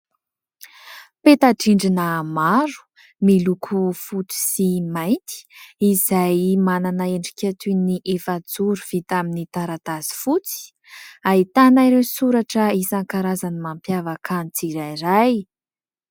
Peta-drindrina maro, miloko fotsy sy mainty, izay manana endrika toy ny efajoro vita amin'ny taratasy fotsy, ahitana ireo soratra isankarazany mampiavaka ny tsirairay.